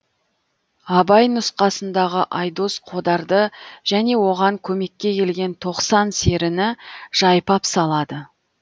абай нұсқасындағы айдос қодарды және оған көмекке келген тоқсан серіні жайпап салады